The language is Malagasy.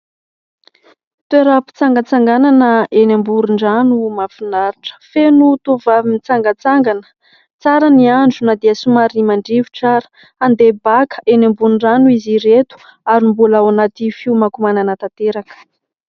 Toeram-pitsangatsanganana eny amoron-drano mahafinaritra. Feno tovovavy mitsangatsangana. Tsara ny andro na dia somary mandrivotra ary. Andeha baka eny ambony rano izy ireto ary mbola ao anaty fiomankomanana tanteraka.